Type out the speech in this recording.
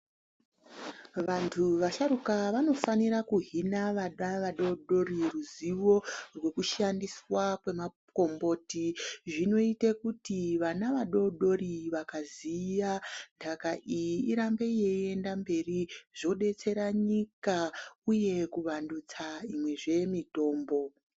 Vantu vasharuka vanofanire kuhina vana vadoodori ruzivo runoshandiswa kwemakomboti .Zvinoite kuti vana vadoodori vakaziya ntaka iyi irambe yeyienda mberi ,zvobetsera nyika ,uye kuvandutsa zvemutombo.